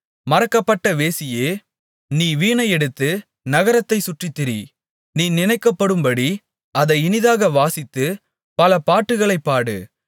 மறக்கப்பட்ட வேசியே நீ வீணையை எடுத்து நகரத்தைச் சுற்றித்திரி நீ நினைக்கப்படும்படி அதை இனிதாக வாசித்துப் பல பாட்டுகளைப் பாடு